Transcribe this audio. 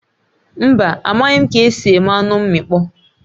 Mba, amaghị ka-esi eme anụ mmịkpọ